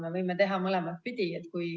Me võime teha mõlemat pidi.